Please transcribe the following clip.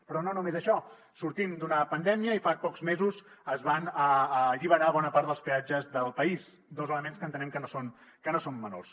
però no només això sortim d’una pandèmia i fa pocs mesos es van alliberar bona part dels peatges del país dos elements que entenem que no són menors